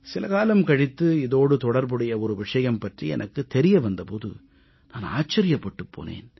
சில காலம் கழித்து இதோடு தொடர்புடைய ஒரு விஷயம் பற்றி எனக்குத் தெரிய வந்த போது நான் ஆச்சரியப்பட்டுப் போனேன்